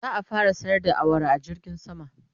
za'a fara sayar da awara a jirgin sama